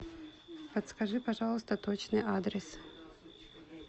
подскажи пожалуйста точный адрес